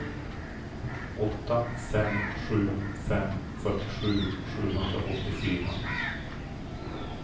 åtta fem sju fem fyrtiosju sjuhundraåttiofyra